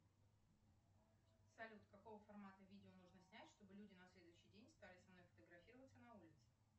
салют какого формата видео нужно снять чтобы люди на следующий день стали со мной фотографироваться на улице